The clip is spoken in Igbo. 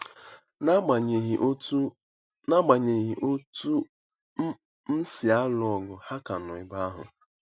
N'agbanyeghị otú N'agbanyeghị otú m si alụ ọgụ, ha ka nọ ebe ahụ.